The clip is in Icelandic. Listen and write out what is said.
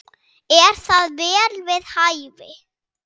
Er það vel við hæfi.